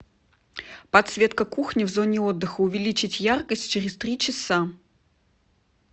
подсветка кухни в зоне отдыха увеличить яркость через три часа